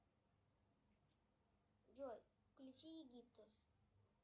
джой включи египтус